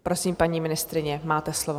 Prosím, paní ministryně, máte slovo.